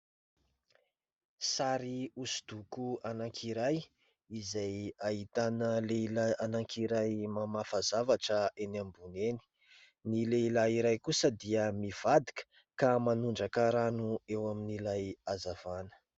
Sary osondoko ananky iray, izay ahitana lehilahy ananky iray mamafa zavatra eny ambony eny, ny lehilahy iray kosa dia mivadika ka manondraka rano eo amin'ilay azavana.